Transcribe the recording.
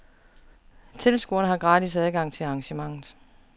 Tilskuere har gratis adgang til arrangementet.